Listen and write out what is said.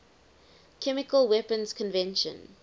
chemical weapons convention